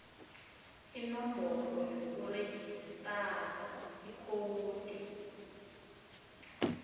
inomboro yokurejistara ikhowudi